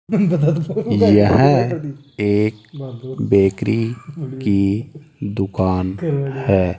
यह एक बेकरी की दुकान है।